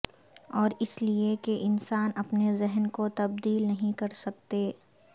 اور اس لئے کہ انسان اپنے ذہن کو تبدیل نہیں کر سکتے